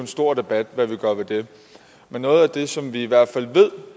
stor debat hvad vi gør ved det men noget af det som vi i hvert fald ved